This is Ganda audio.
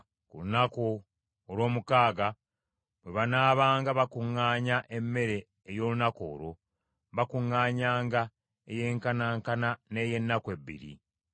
Ku lunaku olw’omukaaga bwe banaabanga bakuŋŋaanya emmere ey’olunaku olwo, bakuŋŋaanyanga eyenkanaankana n’ey’ennaku bbiri.”